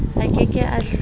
a ke ke a hlola